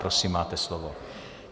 Prosím, máte slovo.